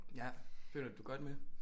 Ja føler du du godt med